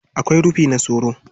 Akwai rufi na soro.